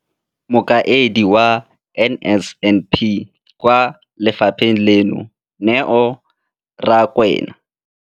Mokaedi wa NSNP kwa lefapheng leno, Neo Rakwena.